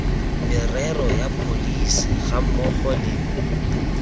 merero ya pholesi gammogo le